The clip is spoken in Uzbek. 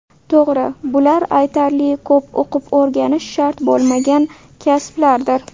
To‘g‘ri, bular aytarli ko‘p o‘qib-o‘rganish shart bo‘lmagan kasblardir.